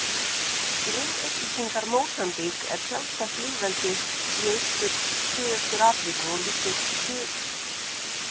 Grunnupplýsingar Mósambík er sjálfstætt lýðveldi í Suðaustur-Afríku og liggur austurströnd þess að Indlandshafi.